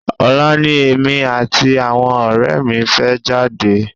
Ọ̀la ni èmi àti àwọn ọ̀rẹ́ mi fẹ́ jáde.